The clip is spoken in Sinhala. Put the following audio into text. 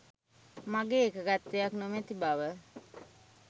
මගේ එකඟත්වයක් නොමැති බව